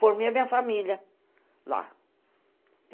Formei a minha família lá.